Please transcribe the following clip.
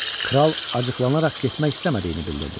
Kral acıqlanaraq getmək istəmədiyini bildirdi.